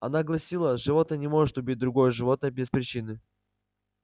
она гласила животное не может убить другое животное без причины